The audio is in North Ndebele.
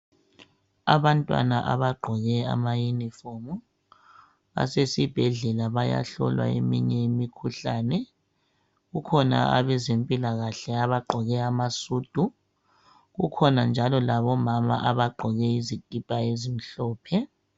abantwana abagqoke ama uniform basesibhedlela bayahlolwa eminye imkhuhlane kukhona abezempilakhle abagqoke amasudu kukhona njalo labomama abagqoke izikipa ezimhlophe